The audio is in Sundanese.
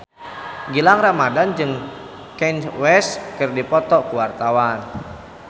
Gilang Ramadan jeung Kanye West keur dipoto ku wartawan